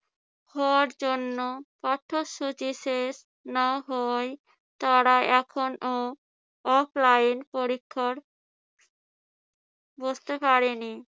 হওয়ার জন্য পাঠ্যসূচি শেষ না হওয়ায় তারা এখনো offline পরীক্ষায় বসতে পারেনি